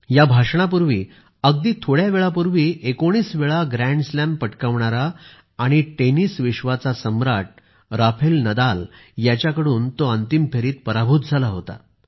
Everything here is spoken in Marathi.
या भाषणापूर्वी अगदीच थोड्यावेळापूर्वी 19 वेळा ग्रॅन्ड स्लॅम पटकावणारे आणि टेनिस विश्वाचे सम्राट राफेल नदाल यांच्याकडून ते अंतिम फेरीत पराभूत झाले होते